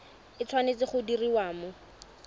e tshwanetse go diriwa mo